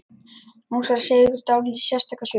Nú skal segja ykkur dálítið sérstaka sögu.